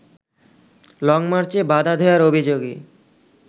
লংমার্চে বাধা দেয়ার অভিযোগে